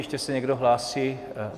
Ještě se někdo hlásí?